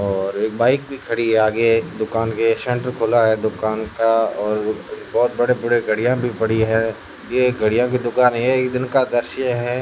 और एक बाइक भी खड़ी है आगे दुकान के शटर खुला है दुकान का और बहोत बड़े बड़े गाड़ियां भी पड़ी है ये गाड़ियां की दुकान है एक दिन का दृश्य है।